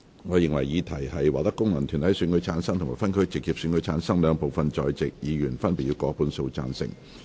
我認為議題獲得經由功能團體選舉產生及分區直接選舉產生的兩部分在席議員，分別以過半數贊成。